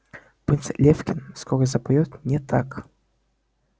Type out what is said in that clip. принц лефкин скоро запоёт не так